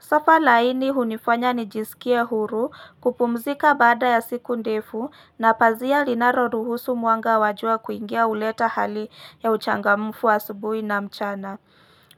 Sofa laini hunifanya nijisikie huru kupumzika baada ya siku ndefu na pazia linaro ruhusu mwanga wajua kuingia huleta hali ya uchangamufu asubuhi na mchana.